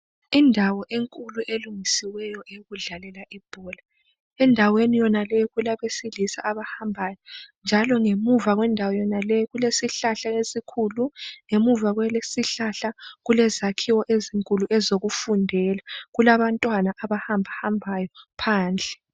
Indawo enkulu elungisiweyo eyokudlalela ibhola. Endaweni yonaleyi kulabesilisa abahambayo, njalo ngemuva kwendawo yonaleyi kulesihlahla esikhulu. Ngamuva kwalesisihlahla kulezakhiwo ezinkulu ezokufundela, kulabantwana abahambahambayo phandle.